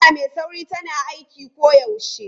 Hanya mai sauri tana aiki koyaushe.